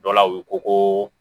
Dɔ la u ko ko